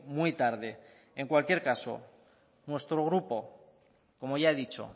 muy tarde en cualquier caso nuestro grupo como ya he dicho